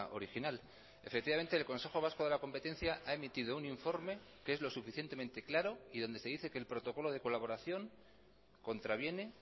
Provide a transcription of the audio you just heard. original efectivamente el consejo vasco de la competencia ha emitido un informe que es lo suficientemente claro y donde se dice que el protocolo de colaboración contraviene